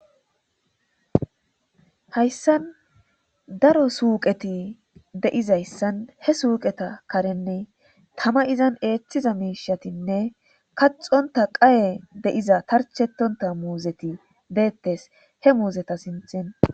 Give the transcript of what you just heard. Hayssan daro suuqeti deizayssan he suuqeta karenne tama izan eeththiza miishatinne kaxonta qaye deiza tarchetonta muuzeti deettes he muuzeta sinthin.